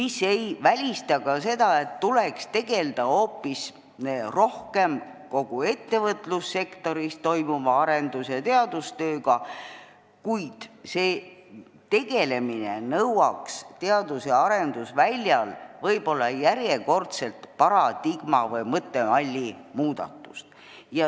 See ei välista ka seda, et tuleks hoopis rohkem tegelda kogu ettevõtlussektoris toimuva arendus- ja teadustööga, kuid see nõuaks teadus- ja arendusväljal võib-olla järjekordselt paradigma või mõttemalli muudatust.